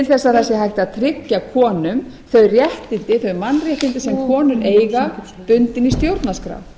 sé hægt að tryggja konum þau mannréttindi sem konur eiga bundin í stjórnarskrá